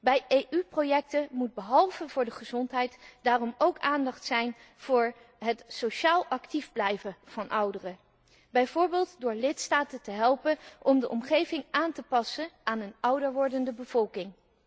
Bij EU projecten moet behalve voor de gezondheid daarom ook aandacht zijn voor het sociaal actief blijven van ouderen, bijvoorbeeld door lidstaten te helpen om de omgeving aan te passen aan een ouder wordende bevolking.